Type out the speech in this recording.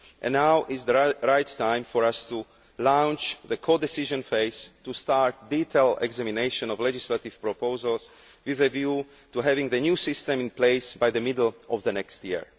Now is the right time for us to launch the codecision phase to start detailed examination of legislative proposals with a view to having the new system in place by the middle of next year.